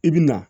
I bi na